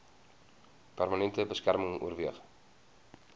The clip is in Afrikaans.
permanente beskerming oorweeg